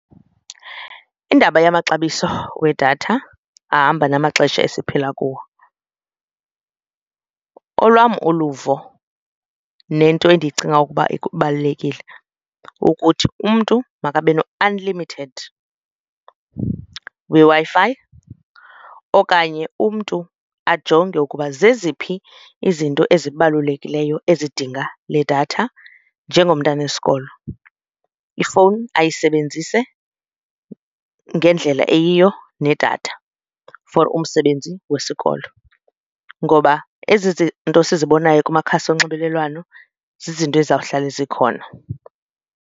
Indaba yamaxabiso wedatha ahamba namaxesha esiphila kuwo, olwam uluvo nento endicinga ukuba ibalulekile ukuthi umntu makabe no-unlimited weWi-Fi okanye umntu ajonge ukuba zeziphi izinto ezibalulekileyo ezidinga le datha njengomntana wesikolo. Ifowuni ayisebenzise ngendlela eyiyo nedatha for umsebenzi wesikolo ngoba ezi zinto sizibonayo kumakhasi onxibelelwano zizinto ezawuhlale zikhona.